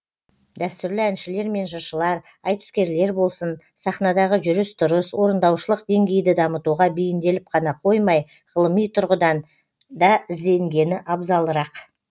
дәстүрлі әншілер мен жыршылар айтыскерлер болсын сахнадағы жүріс тұрыс орындаушылық деңгейді дамытуға бейімделіп қана қоймай ғылыми тұрғыдан да ізденгені абзалырақ